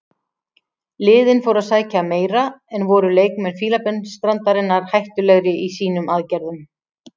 Liðin fóru að sækja meira en voru leikmenn Fílabeinsstrandarinnar hættulegri í sínum aðgerðum.